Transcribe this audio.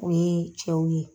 O ye cɛw ye.